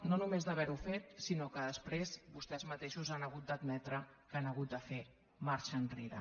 no només d’haver ho fet sinó que després vostès mateixos han hagut d’admetre que han hagut de fer marxa enrere